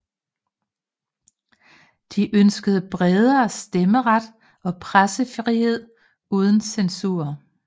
De ønskede bredere stemmeret og pressefrihed uden censur